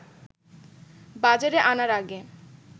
বাজারে আনার আগে